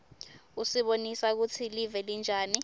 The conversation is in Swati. usibonisa kutsi live linjani